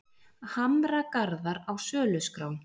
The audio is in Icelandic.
Hamragarðar á söluskrá